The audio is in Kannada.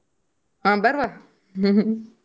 ಆ ಬರ್ವ .